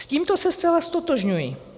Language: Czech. S tímto se zcela ztotožňuji.